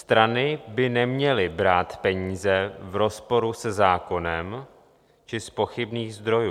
Strany by neměly brát peníze v rozporu se zákonem či z pochybných zdrojů.